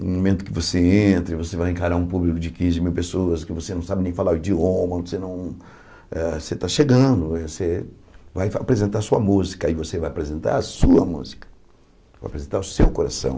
No momento que você entra, você vai encarar um público de quinze mil pessoas, que você não sabe nem falar o idioma, você não ah você está chegando, você vai apresentar a sua música, e você vai apresentar a sua música, vai apresentar o seu coração.